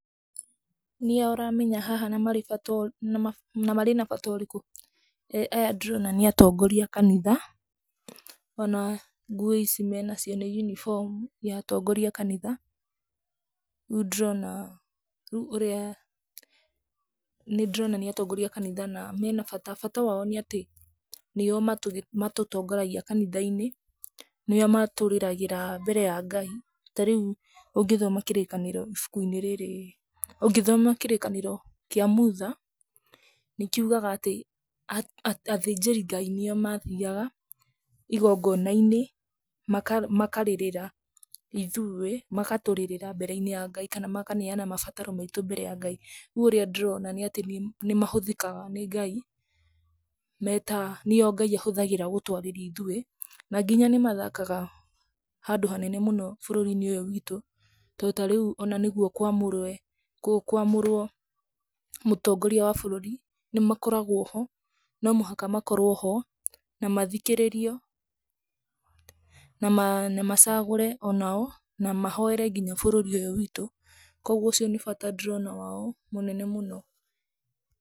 Nĩa ũramenya haha na marĩ na bata ũrĩkũ? Aya ndĩrona nĩ atongoria a kanitha ona nguo ici menacio nĩ yunibomu ya atongoria a kanitha, rĩu ndĩrona, rĩu ũrĩa, nĩ ndĩrona nĩ atongoria a kanitha na mena bata. Bata wao nĩ atĩ nĩo matũtongoragia kanitha-inĩ, nĩo matũrĩragĩra mbere ya Ngai. Tarĩu ũngĩthoma kĩrĩkanĩro ibuku-inĩ rĩrĩ, ũngĩthoma kĩrĩkanĩro kĩa Mutha, nĩ kiugaga atĩ athĩnjĩri Ngai nĩo mathiaga igongona-inĩ makarĩrĩra ithuĩ, magatũrĩrĩra mbere-inĩ ya Ngai kana makaneana mabataro maitũ mbere ya Ngai. Rĩu ũrĩa ndĩrona nĩ atĩ nĩ mahũthĩkaga nĩ Ngai me ta, nĩo Ngai ahũthagĩra gũtwarĩria ithuĩ. Na nginya nĩ mathakaga handũ hanene mũno bũrũri-inĩ ũyũ witũ, to tarĩu ona nĩguo kũamũrwe kũamũrwo mũtongoria wa bũrũri, nĩmakoragwo ho, no mũhaka makorwo ho na mathikĩrĩrio na macagũre onao na mahoere nginya bũrũri ũyũ witũ. Koguo ũcio nĩ bata ndĩrona wao mũnene mũno.